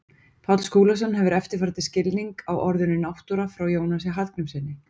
Páll Skúlason hefur eftirfarandi skilning á orðinu náttúra frá Jónasi Hallgrímssyni: